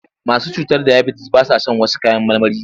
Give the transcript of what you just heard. Masu cutar dayabitis ba sa shan wash kayan marmarin.